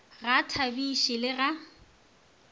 ga a thabiše le ga